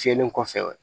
Fiyɛli kɔfɛ